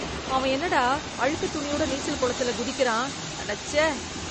அவன் என்னடா அழுக்கு துணியோட நீச்சல் குளத்துல குதிக்கிறான், அடச்சே.